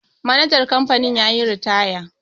manajan kamfanin ya yi ritaya